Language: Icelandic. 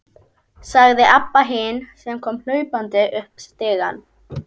sagði Abba hin, sem kom hlaupandi upp stigann.